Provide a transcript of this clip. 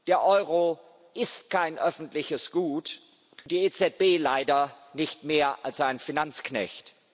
Der Euro ist kein öffentliches Gut und die EZB leider nicht mehr als ein Finanzknecht.